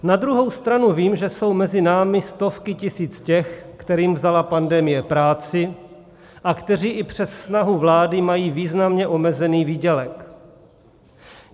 Na druhou stranu vím, že jsou mezi námi stovky tisíc těch, kterým vzala pandemie práci a kteří i přes snahu vlády mají významně omezený výdělek.